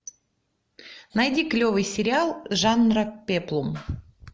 найди клевый сериал жанра пеплум